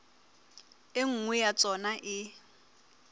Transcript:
e nngwe ya tsona e